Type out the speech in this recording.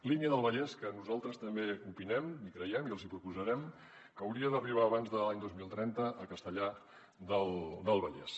línia del vallès que nosaltres també opinem i creiem i els hi proposarem que hauria d’arribar abans de l’any dos mil trenta a castellar del vallès